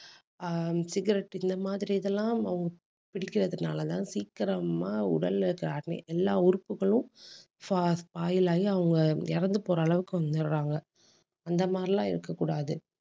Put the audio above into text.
ஆஹ் cigarette இந்த மாதிரி இதெல்லாம் அவங்க பிடிக்கிறதுனாலதான் சீக்கிரமா உடல்ல எல்லா உறுப்புகளும் spa~ spoil அவங்க இறந்து போற அளவுக்கு வந்துடுறாங்க. அந்த மாதிரி எல்லாம் இருக்கக் கூடாது.